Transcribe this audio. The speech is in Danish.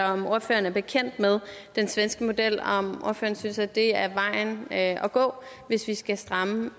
om ordføreren er bekendt med den svenske model og om ordføreren synes det er vejen at at gå hvis vi skal stramme